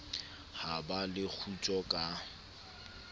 ha ba le kgutso ka